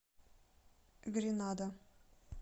гренада